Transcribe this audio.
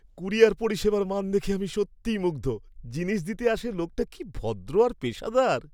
Courier পরিষেবার মান দেখে আমি সত্যিই মুগ্ধ। জিনিস দিতে আসে লোকটা কী ভদ্র আর পেশাদার!